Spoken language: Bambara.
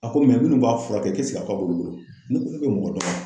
A ko minnu b'a furakɛ k'a b'olu bolo , n k'olu bɛ mɔgɔ dɔgɔya